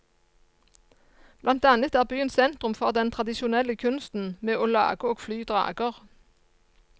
Blant annet er byen sentrum for den tradisjonelle kunsten med å lage og fly drager.